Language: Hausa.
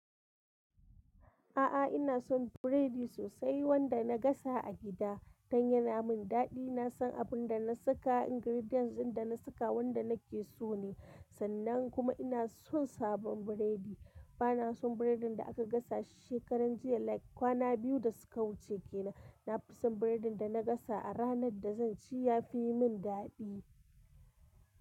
A'a, ina son biredi sosai wanda na gasa a gida don yana min daɗi. Na san abin da na saka, ingredients ɗin da na saka, wanda nake so ne. Sannan kuma ina son sabon biredi. Ba na son biredin da aka gasa shi shekaran jiya like kwana biyu da suka wuce kenan. Na fi son biredin da na gasa a ranar da zan ci yafi min daɗi.